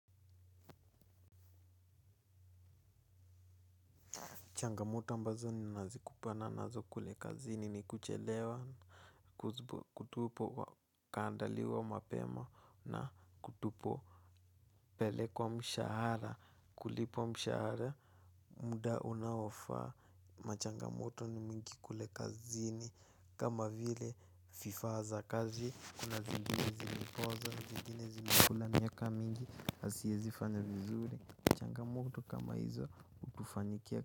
Changamoto ambazo ninazikupana nazo kule kazini ni kuchelewa. Kutupo wa kandaliwa mapema na kutupo pelekwa mshahara kulipwa mshahara. Muda unaofaa machangamoto ni mingi kule kazini kama vile fifaa za kazi kuna zingine zilipoza, zingine zimekula, miaka mingi, haiezi fanya vizuri. Changamoto kama hizo utufanikia.